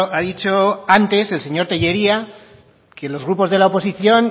ha dicho antes el señor tellería que los grupos de la oposición